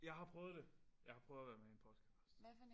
Jeg har prøvet det jeg har prøvet at være med i en podcast